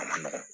A ma nɔgɔn